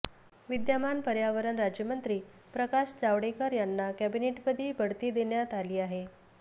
विद्यमान पर्यावरण राज्यमंत्री प्रकाश जावडेकर यांना कॅबिनेटपदी बढती देण्यात आली आहे